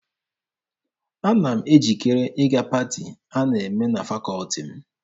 Ana m ejikere ịga paati a na-eme na fakọọti m.